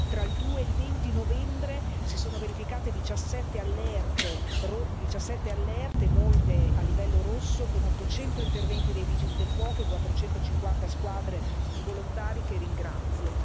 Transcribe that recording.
tra il 2 e il 20 novembre, si sono verificate 17 allerte, molte delle quali con livello rosso, con 800 interventi dei Vigili del fuoco e 450 squadre di volontari, che ringrazio.